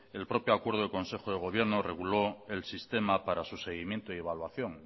el propio acuerdo de consejo del gobierno reguló el sistema para su seguimiento y evaluación